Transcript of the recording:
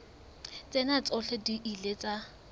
tsena tsohle di ile tsa